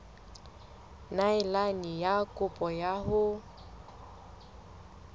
neelane ka kopo ya hao